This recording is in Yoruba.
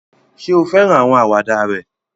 Ṣé o fẹ́ràn àwọn àwàdà rẹ̀?